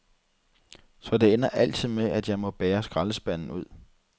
Så det ender altid med, at jeg må bære skraldespanden ud.